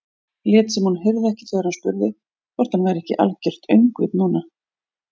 Lét sem hún heyrði ekki þegar hann spurði hvort hann væri ekki algert öngvit núna.